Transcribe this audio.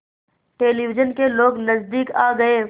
television के लोग नज़दीक आ गए